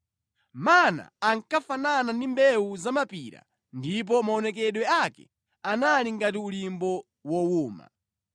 Mana ankafanana ndi mbewu zamapira ndipo maonekedwe ake anali ngati ulimbo wowuma.